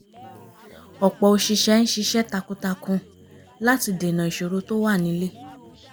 ọ̀pọ̀ oṣìṣẹ́ ń ṣiṣẹ́ takuntakun láti dènà ìṣòro tó wà nílé